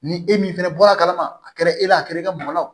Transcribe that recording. Ni e min fɛnɛ bɔra a kalama a kɛra e la a kɛra e ka mɔlɔ